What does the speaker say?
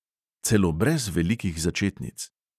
Celo brez velikih začetnic.